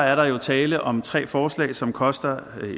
er der jo tale om tre forslag som koster